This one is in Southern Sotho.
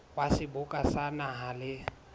wa seboka sa naha le